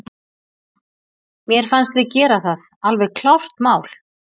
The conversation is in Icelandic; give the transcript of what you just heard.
Mér fannst við gera það, alveg klárt mál.